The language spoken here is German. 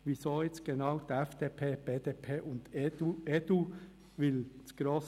Weshalb genau die FDP, die BDP und die EDU in einen andern?